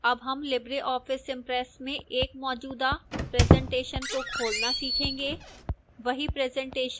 अब हम libreoffice impress में एक मौजूदा presentation को खोलना सीखेंगे